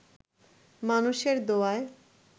মানুষের দোয়ায়